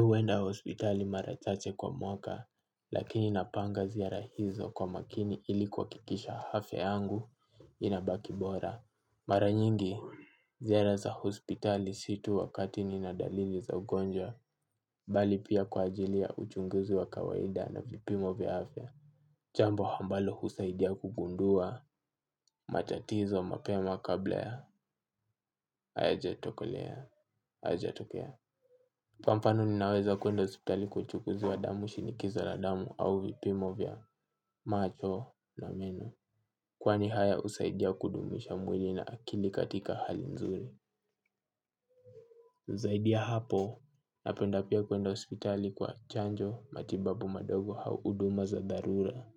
Huenda hospitali mara chache kwa mwaka, lakini napanga ziara hizo kwa makini ili kuhakikisha hafya yangu inabaki bora. Mara nyingi, ziara za hospitali si tu wakati nina dalili za ugonjwa, bali pia kwa ajili ya uchunguzi wa kawaida na vipimo vya hafya. Chambo hambalo husaidia kugundua, matatizo mapema kabla ya, hayajatokolea, hayajatokea. Kwa mfano ninaweza kuenda hospitali kwa uchukuzi wa damu shinikizo la damu au vipimo vya macho na meno. Kwani haya husaidia kudumisha mwili na akili katika hali nzuri. Zaidi ya hapo napenda pia kuenda hospitali kwa chanjo matibabu madogo au huduma za dharura.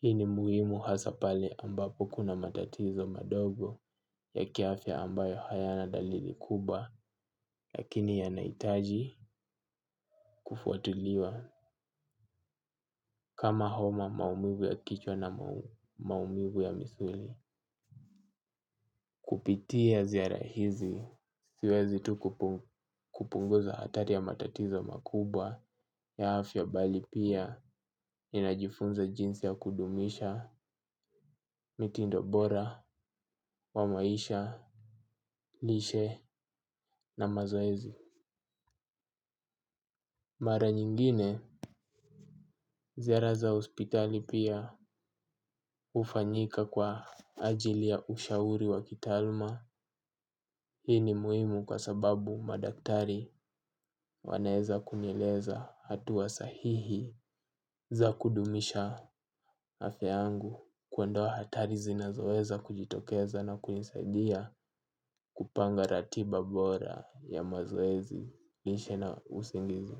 Hii ni muhimu hasa pale ambapo kuna matatizo madogo ya kiafya ambayo hayana dalili kubwa lakini yanahitaji kufuatiliwa. Kama homa maumivu ya kichwa na maumivu ya misuli kupitia ziara hizi siwezi tu kupunguza hatari ya matatizo makubwa ya hafya bali pia ninajifunza jinsi ya kudumisha, mitindo bora, wa maisha, lishe na mazoezi. Mara nyingine ziara za hospitali pia hufanyika kwa ajili ya ushauri wa kitaaluma. Hii ni muhimu kwa sababu madaktari wanaweza kunieleza hatua sahihi za kudumisha afya yangu kuandoa hatari zinazoeza kujitokeza na kunisaidia kupanga ratiba bora ya mazoezi lishe na usingizi.